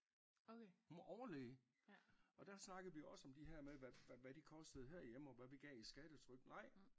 Hun var overlæge og der snakkede vi også om de her med hvad de kostede her hjemme og hvad vi gav i skattetryk nej